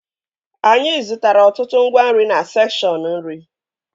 Anyị zụtara ọtụtụ ngwa nri na sekshọn nri